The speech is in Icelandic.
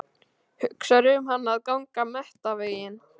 Hugsar um hana að ganga menntaveginn.